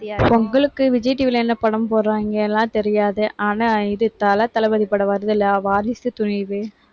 பொங்கலுக்கு, விஜய் TV ல என்ன படம் போடுறாங்கன்னு எல்லாம் தெரியாது. ஆனா இது தல, தளபதி படம் வருதுல்ல, வாரிசு துணிவு